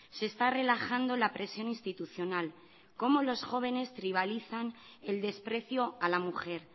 se está relajando la presión institucional cómo los jóvenes tribalizan el desprecio a la mujer